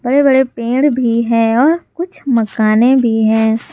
बड़े बड़े पेड़ भी हैं और कुछ मकाने भी हैं।